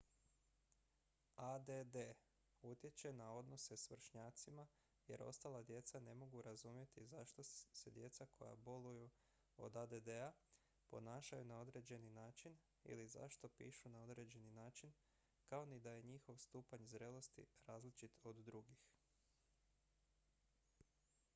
add utječe na odnose s vršnjacima jer ostala djeca ne mogu razumjeti zašto se djeca koja boluju od add-a ponašaju na određeni način ili zašto pišu na određeni način kao ni da je njihov stupanj zrelosti različit od drugih